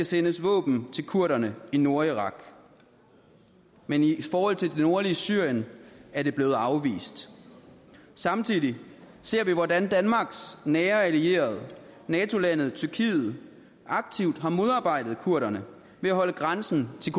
sendes våben til kurderne i nordirak men i forhold til det nordlige syrien er det blevet afvist samtidig ser vi hvordan danmarks nære allierede nato landet tyrkiet aktivt har modarbejdet kurderne ved at holde grænsen til